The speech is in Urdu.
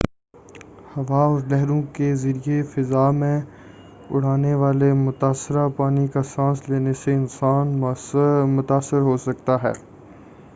ہوا اور لہروں کے ذریعہ فضا میں اڑانے والے متآثرہ پانی کا سانس لینے سے انسان متاثر ہوسکتے ہیں